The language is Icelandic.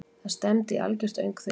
Það stefndi í algjört öngþveiti.